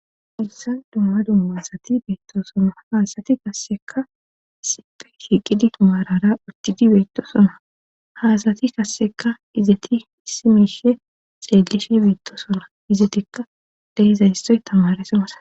Hayssan dumma dumma asati beettosonna ha asati qassekka issippe shiiqidi maarara uttidi bettosona ha asatii qasseka izeti issi miishe xellishe beettosona izetikka de'izasoy tamaareso masattes